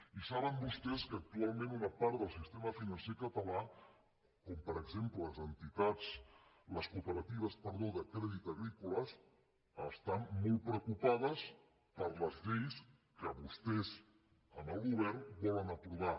i saben vostès que actualment una part del sistema financer català com per exemple les cooperatives de crèdit agrícola estan molt preocupades per les lleis que vostès en el govern volen aprovar